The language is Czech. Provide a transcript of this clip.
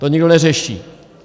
To nikdo neřeší!